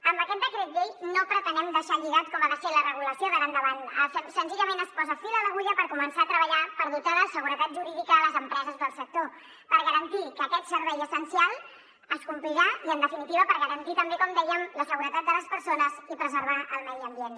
amb aquest decret llei no pretenem deixar lligada com ha de ser la regulació d’ara endavant senzillament es posa fil a l’agulla per començar a treballar per dotar de seguretat jurídica les empreses del sector per garantir que aquest servei essencial es complirà i en definitiva per garantir també com dèiem la seguretat de les persones i per preservar el medi ambient